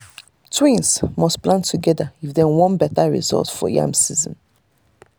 twins must plant together if dem want better result for yam season.